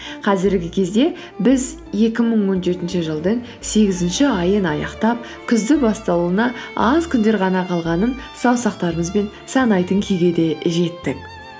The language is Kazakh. қазіргі кезде біз екі мың он жетінші жылдың сегізінші айын аяқтап күздің басталуына аз күндер ғана қалғанын саусақтарымызбен санайтын күйге де жеттік